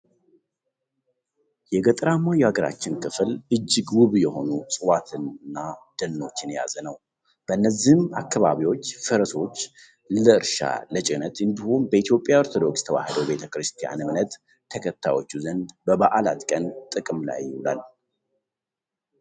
የገጠራማው የሀገራችን ክፍል እጅግ ውብ የሆኑ እፅዋትን እና ደኖችን የያዘ ነው። በነዚህም አካባቢዎች ፈረሶች ለእርሻ፣ ለጭነት፣ እንዲሁም በኢትዮጵያ ኦርቶዶክስ ተዋሕዶ ቤተክርስቲያን እምነት ተከታዮች ዘንድ በበዓላት ቀን ጥቅም ላይ ይውላ